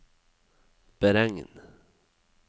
beregn